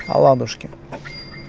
оладушки